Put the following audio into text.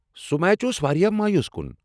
سُہ میچ اوس واریاہ مایوس کُن۔